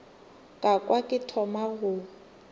ka kwa ke thoma go